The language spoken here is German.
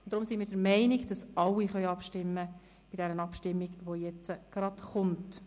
Deshalb sind wir der Meinung, dass alle an der Abstimmung, welche gleich folgt, teilnehmen können.